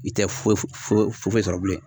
I tɛ foyi fo foyi sɔrɔ bilen.